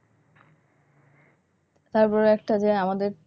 তারপরে যে একটা যে আমাদের,